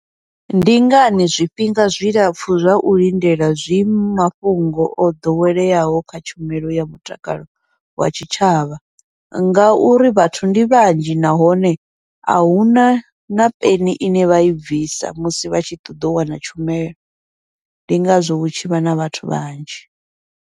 Ndi ngani zwifhinga zwilapfhu zwa u lindela zwi mafhungo o ḓoweleaho kha tshumelo ya mutakalo wa tshitshavha, ngauri vhathu ndi vhanzhi nahone ahuna na peni ine vha i bvisa musi vha tshi ṱoḓa u wana tshumelo, ndi ngazwo hu tshivha na vhathu vhanzhi.